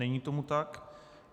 Není tomu tak.